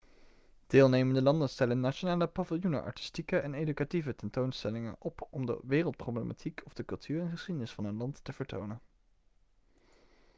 deelnemende landen stellen in nationale paviljoenen artistieke en educatieve tentoonstellingen op om de wereldproblematiek of de cultuur en geschiedenis van hun land te vertonen